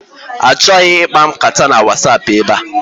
Achọghị ịkpa nkata na Wasapụ ebe a!